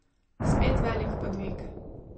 Spet velik podvig ...